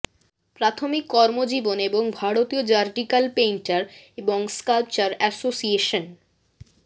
প্রাথমিক কর্মজীবন এবং ভারতীয় র্যাডিকাল পেইন্টার এবং স্কাল্পচার এসোসিয়েশন